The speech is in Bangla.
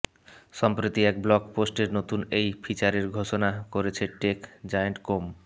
সম্প্রতি এক ব্লগ পোস্টে নতুন এই ফিচারের ঘোষণা করেছে টেক জায়েন্ট কোম